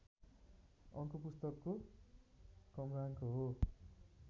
अङ्क पुस्तकको क्रमाङ्क हो